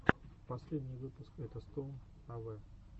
последний выпуск этостоун авэ